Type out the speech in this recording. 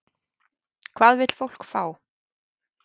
Hvað vill fólk fá?